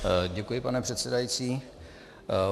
Děkuji, pane předsedající.